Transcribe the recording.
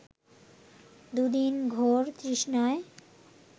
দু’দিন ঘোর তৃষ্ণায়